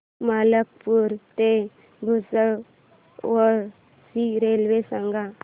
मलकापूर ते भुसावळ ची रेल्वे सांगा